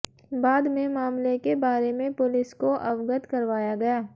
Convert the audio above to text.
बाद में मामले के बारे में पुलिस को अवगत करवाया गया